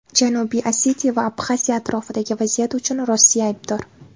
Janubiy Osetiya va Abxaziya atrofidagi vaziyat uchun Rossiya aybdor.